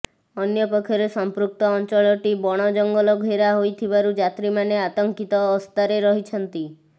ଅନ୍ୟପକ୍ଷରେ ସମ୍ପୃକ୍ତ ଅଞ୍ଚଳଟି ବଣ ଜଂଗଲ ଘେରା ହୋଇଥିବାରୁ ଯାତ୍ରୀମାନେ ଆତଙ୍କିତ ଅସ୍ଥାରେ ରହିଛନ୍ତି